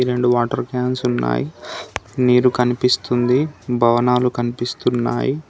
రెండు water cans ఉన్నాయ్ నీరు కన్పిస్తుంది భవనాలు కన్పిస్తున్నాయి.